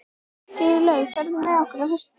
Sigurlaugur, ferð þú með okkur á föstudaginn?